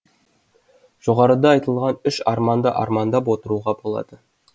жоғарыда айтылған үш арманды армандап отыруға болады